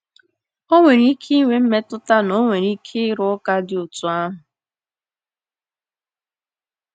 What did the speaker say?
O nwere ike ịnwe mmetụta na ọ nwere ike ịrụ ụka dị otú ahụ.